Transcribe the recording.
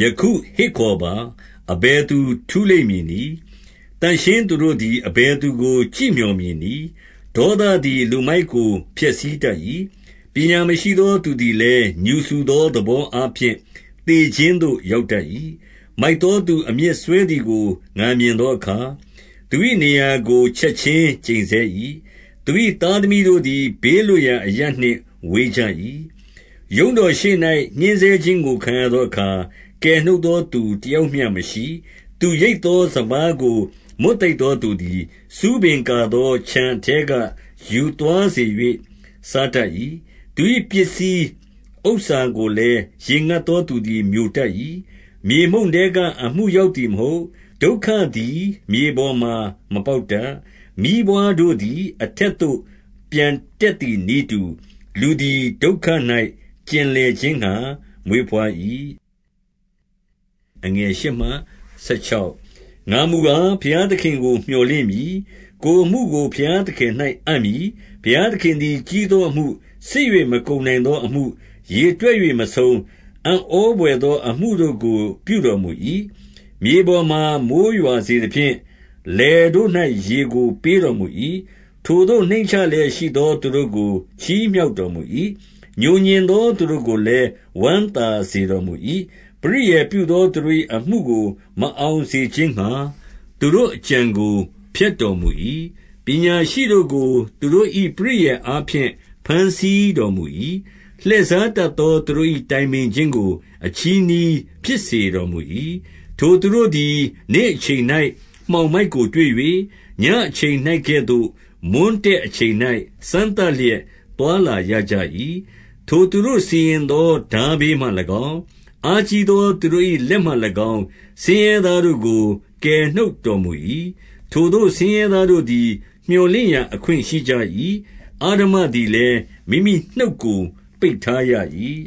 ယခုဟစ်ခေါ်ပါ။ အဘယ်သူ ထူးလိမ့်မည်နည်း။ သန့်ရှင်းသူတို့တွင် အဘယ်သူကို ကြည့်မျှော်မည်နည်း။ ဒေါသသည် လူမိုက်ကိုဖျက်ဆီးတတ်၏။ ပညာမရှိသော သူသည်လည်းငြူစူသောသဘောအားဖြင့် သေခြင်းသို့ ရောက်တတ်၏။ မိုက်သောသူအမြစ်စွဲသည်ကို ငါမြင်သောအခါ၊ သူ၏နေရာကို ချက်ခြင်းကျိန်ဆဲ၏။ သူ၏သားသမီးတို့သည် ဘေးလွတ်ရာအရပ်နှင့် ဝေးကြ၏။ ရုံးတော်ရှေ့၌ ညှဉ်းဆဲခြင်းကို ခံရသောအခါ ကယ်နှုတ်သောသူ တယောက်မျှမရှိ။ သူရိတ်သောစပါးကို မွတ်သိပ်သောသူသည်၊ ဆူးပင်ကာသောခြံ အထဲကယူသွား၍ စားတတ်၏။ သူ၏ ပစ္စည်းဥစ္စာကိုလည်း ရေငတ်သော သူသည် မျိုတတ်၏။ မြေမှုန့်ထဲကအမှုရောက်သည်မဟုတ်။ ဒုက္ခသည် မြေပေါ်မှာ မပေါက်တတ်။ မီးပွါးတို့သည် အထက်သို့ပျံတက်သည်နည်းတူ၊ လူသည်ဒုက္ခ၌ ကျင်လည်ခြင်းငှါ မွေးဘွား၏။ ငါမူကား ဘုရားသခင်ကို မျှော်လင့်မည်။ ကိုယ်အမှုကို ဘုရားသခင်၌ အပ်မည်။ ဘုရားသခင်သည် ကြီးသောအမှု၊ စစ်၍မကုန်နိုင်သောအမှု၊ ရေတွက်၍မဆုံး၊ အံ့ဩဘွယ်သော အမှု တို့ကို ပြုတော်မူ၏။ မြေပေါ်မှာမိုဃ်းရွာစေသဖြင့် လယ်တို့၌ ရေကိုပေးတော်မူ၏။ ထိုသို့နှိမ့်ချလျက်ရှိသောသူတို့ကို ချီးမြှောက်တော်မူ၏။ ငြိုငြင်သောသူတို့ကိုလည်း ဝမ်းသာစေတော် မူ၏။ ပရိယာယ်ပြုသောသူတို့၏ အမှုကိုမအောင်စေခြင်းငှါ သူတို့အကြံကို ဖျက်တော်မူ၏။ ပညာရှိတို့ကို သူတို့၏ပရိယာယ်အားဖြင့် ဘမ်းဆီးတော်မူ၏။ လှည့်စားတတ်သောသူတို့၏ တိုင်ပင်ခြင်း ကို အချည်းနှီးဖြစ်စေတော်မူ၏။ ထိုသူတို့သည် နေ့အချိန်၌ မှောင်မိုက်ကိုတွေ့၍၊ ညဉ့်အချိန်၌ကဲ့သို့ မွန်းတည့်အချိန်၌ စမ်းသပ်လျက် သွားလာကြ၏။ ထိုသူတို့စီရင်သောထားဘေးမှ၎င်း၊ အားကြီးသောသူတို့၏ လက်မှ၎င်း၊ ဆင်းရဲသားတို့ကို ကယ်နှုတ် တော်မူ၏။ ထိုသို့ ဆင်းရဲသားတို့သည် မြော်လင့်ရာအခွင့် ရှိကြ၏။ အဓမ္မသည်လည်း မိမိနှုတ်ကို ပိတ်ထားရ၏